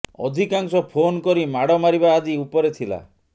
ଅଧିକାଂଶ ଫୋନ୍ କରି ମାଡ଼ ମାରିବା ଆଦି ଉପରେ ଥିଲା